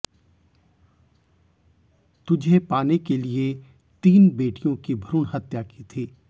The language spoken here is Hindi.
तुझे पाने के लिये तीन बेटियों की भ्रूण हत्या की थी